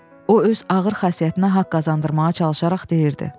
O öz ağır xasiyyətinə haqq qazandırmağa çalışaraq deyirdi: